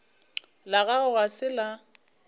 la gago ga se la